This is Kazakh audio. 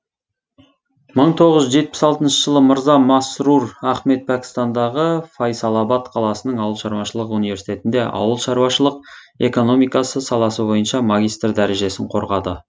мың тоғыз жүз жетпіс алтыншы жылы мырза масрур ахмед пәкістандағы файсалабад қаласының ауыл шаруашылық университетінде ауыл шаруашылық экономикасы саласы бойынша магистр дәрежесін қорғады